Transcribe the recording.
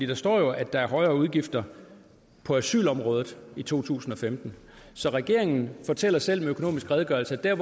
der står jo at der er højere udgifter på asylområdet i to tusind og femten så regeringen fortæller selv med økonomisk redegørelse at der